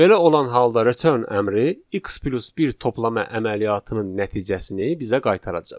Belə olan halda return əmri x + 1 toplama əməliyyatının nəticəsini bizə qaytaracaq.